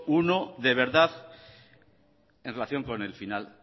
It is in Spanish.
uno de verdad en relación con el final